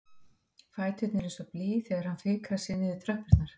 Fæturnir eins og blý þegar hann fikrar sig niður tröppurnar.